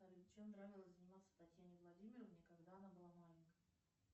чем нравилось заниматься татьяне владимировне когда она была маленькой